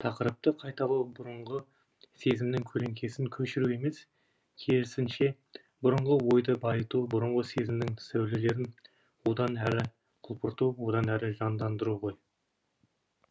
тақырыпты қайталау бұрынғы сезімнің көлеңкесін көшіру емес керісінше бұрынғы ойды байыту бұрынғы сезімнің сәулелерін одан әрі құлпырту одан әрі жандандыру ғой